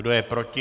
Kdo je proti?